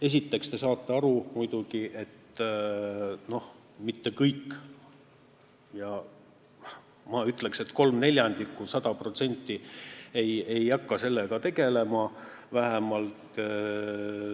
Esiteks te saate muidugi aru, et mitte kõik ei maksa, ma ütleksin, et vähemalt kolm neljandikku ei hakka sellega tegelema.